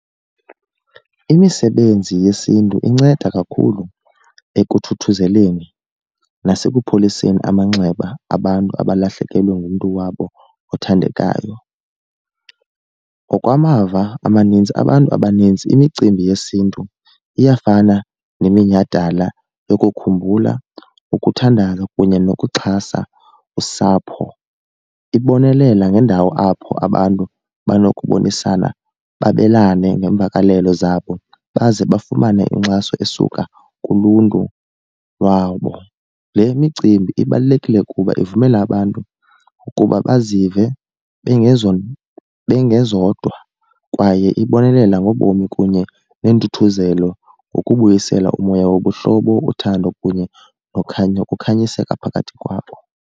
Imisebenzi yesiNtu inceda kakhulu ekuthuthuzeleni nasekupholiseni amanxeba abantu abalahlekelwe ngumntu wabo othandekayo. Ngokwamava amaninzi abantu abaninzi imicimbi yesiNtu iyafana neminyhadala yokukhumbula, ukuthandaza kunye nokuxhasa usapho. Ibonelela ngendawo apho abantu banokubonisana babelane ngeemvakalelo zabo baze bafumane inkxaso esuka kuluntu lwabo. Le micimbi ibalulekile kuba ivumela abantu ukuba bazive bengezodwa kwaye ibonelela ngobomi kunye neentuthuzelo ngokubuyisela umoya wobuhlobo, uthando kunye nokhanyo ukukhanyiseka phakathi kwabo.